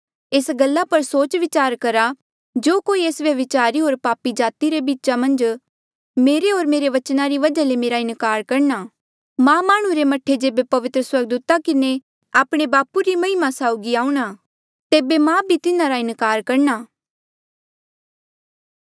एस गल्ला पर सोच विचार करा जो कोई एस व्यभिचारी होर पापी जाति रे बीच मेरे होर मेरे बचना री वजहा ले मेरा इनकार करणा मां माह्णुं रे मह्ठे जेबे पवित्र स्वर्गदूता किन्हें आपणे बापू री महिमा साउगी आऊंणा तेबे मा भी तिन्हारा इनकार करणा